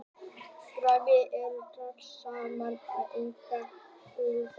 Garnirnar eru að dragast saman og þegar engin er fæðan þá gaula þær.